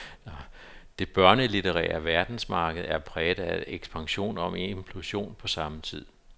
Det børnelitterære verdensmarked er præget af ekspansion og implosion på samme tid.